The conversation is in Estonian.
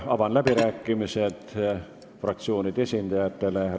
Avan fraktsioonide esindajate läbirääkimised.